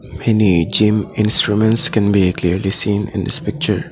Many gym instruments can be clearly seen in this picture.